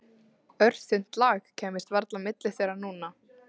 Örþunnt lak kæmist varla á milli þeirra núna.